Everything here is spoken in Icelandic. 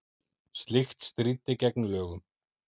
Slíkt stríddi gegn lögum